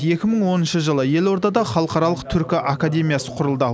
екі мың оныншы жылы елордада халықаралық түркі академиясы құрылды